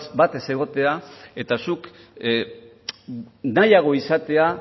bat ez egotea eta zuk nahiago izatea